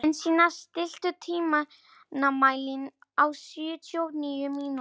Jensína, stilltu tímamælinn á sjötíu og níu mínútur.